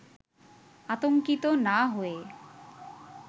আতঙ্কিত না হয়ে